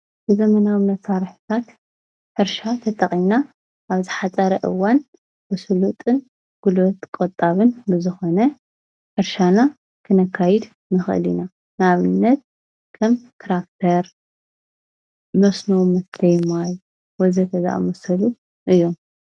ዘመናዊ መሳርሕታት ሕርሻ ተጠቒምና ኣብ ዝሓፀረ እዋን ብስሉጥን ጉልበት ቆጣብን ብዝኾነ ሕርሻና ክንካይድ ንኽእል ኢና፡፡ ንኣብነት ከም ትራክተር፣ መስኖመስተይ ማይ ወዘተ ዝኣመሰሉ እዮም፡፡